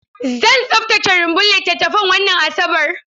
Zan tsaftace rumbun littattafan wannan Asabar.